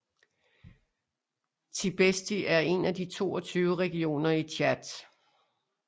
Tibesti er en af de 22 regioner i Tchad